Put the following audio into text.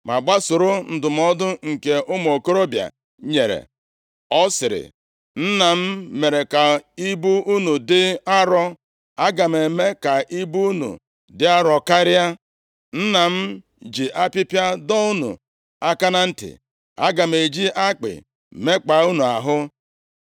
ma gbasoro ndụmọdụ nke ụmụ okorobịa nyere. Ọ sịrị, “Nna m mere ka ibu unu dị arọ, aga m eme ka ibu unu dị arọ karịa. Nna m ji apịpịa dọọ unu aka na ntị, aga m eji akpị mekpaa unu ahụ.”